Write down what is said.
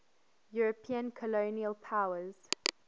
european colonial powers